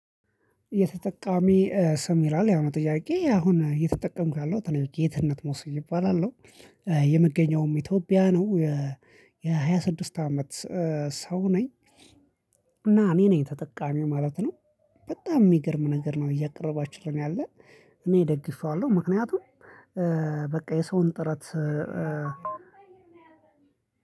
የተጠቃሚ ስም ይላል ያሁኑ ጥያቄ አሁን እየተጠቀምኩ ያለውት እኔ ጌትነት መውሱዩ እባላለሁ። የመገኘውም ኢትዮጵያ ነው። የሃያ ስድስት አመት ሰው ነኝ። እና እኔ ነኝ ተጠቃሚ ማለት ነው። በጣም የሚገርም ነገር ነው እያቀረባችልኝ ያለን። እኔ ደግፌዋለሁ ምክንያቱም በቃ የሰውን ጥረት